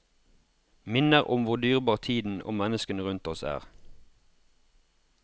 Minner om hvor dyrebar tiden og menneskene rundt oss er.